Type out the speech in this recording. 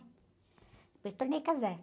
Depois tornei casar.